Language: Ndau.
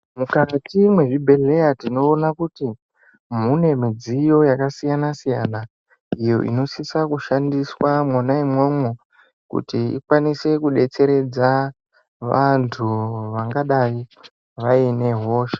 Mukati mwezvibhedhleya tinoona kuti mune midziyo yakasiyana siyana iyo inosisa kushandiswa mwona imwomwo kuti ikwanise kudetseredza vantu vangadai vaine hosha.